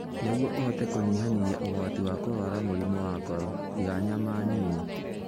Nĩguo ũhote kũnyihanyihia ũgwati wa kũrũara mũrimũ wa ngoro, iga nyama nini.